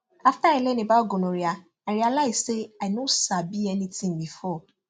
after i learn about gonorrhea i realize say i no sabi anything before